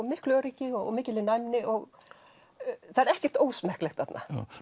miklu öryggi og mikilli næmni og það er ekkert ósmekklegt þarna